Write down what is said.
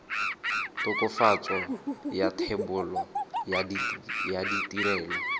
tokafatso ya thebolo ya ditirelo